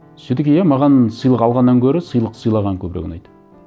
все таки иә маған сыйлық алғаннан гөрі сыйлық сыйлаған көбірек ұнайды